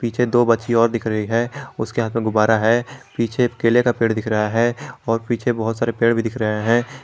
पीछे दो बच्ची और दिख रही है उसके हाथ में गुबार है पीछे केले का पेड़ दिख रहा है और पीछे बहुत सारे पेड़ भी दिख रहे है।